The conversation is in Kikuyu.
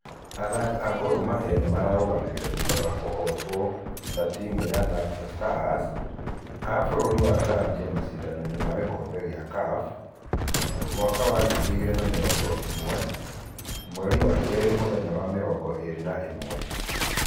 Athaki a timu ya Gor mahia nĩ mararũganire thutha wa kũhotwo na timu ya Napsa stars a fũrũri wa Zambia mashidano-inĩ ma gĩkobe gia CAF mwaka wa ngĩri igĩri na mĩrogo ĩmwe ,mweri wa keri mũthenya wa mĩrongo ĩrĩ na ĩmwe.